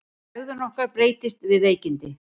Hegðun okkar breytist við veikindi.